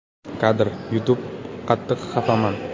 Kadr: YouTube “Qattiq xafaman.